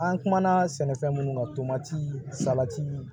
An kumana sɛnɛfɛn minnu kan tomatii salati